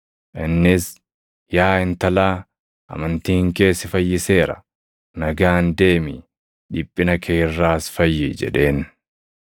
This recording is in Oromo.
Innis, “Yaa intalaa, amantiin kee si fayyiseera. Nagaan deemi; dhiphina kee irraas fayyi” jedheen.